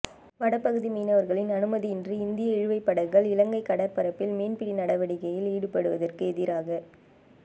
வடபகுதி மீனவர்களின் அனுமதியின்றி இந்திய இழுவைப் படகுகள் இலங்கை கடற்பரப்பில் மீன்பிடி நடவடிக்கையில் ஈடுபடுவதற்கு எதிராக